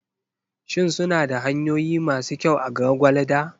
Shin suna da hanyoyi masu kyau a Gwagwalada?